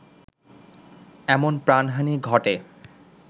এমন প্রাণহানি ঘটে